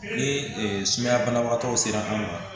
Ni sumaya banabagatɔw sera an ma